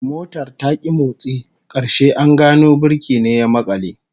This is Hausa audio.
Motar ta ki motsi, karshe an gano birki ne ya makale